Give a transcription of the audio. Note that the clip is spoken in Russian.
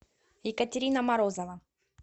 екатерина морозова